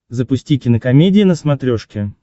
запусти кинокомедия на смотрешке